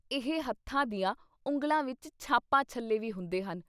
ਇਹ ਹੱਥਾਂ ਦੀਆਂ ਉਂਗਲਾਂ ਵਿੱਚ ਛਾਪਾਂ ਛੱਲੇ ਵੀ ਹੁੰਦੇ ਹਨ।